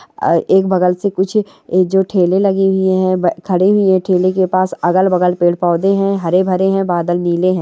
ए-एक बगल से कुछ यह जो ठेले लगी हुई है अ खड़ी हुई है ठेले के पास अगल-बगल पेड़ पौधे हैं हरे भरे हैं बादल नीले हैं।